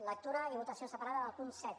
lectura i votació separada del punt set